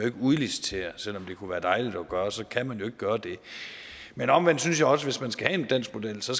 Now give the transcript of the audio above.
ikke udlicitere selv om det kunne være dejligt at gøre det så kan man jo ikke gøre det men omvendt synes jeg også hvis man skal have en dansk model så